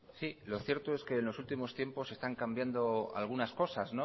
lo cierto es que en los últimos tiempos están cambiando algunas cosas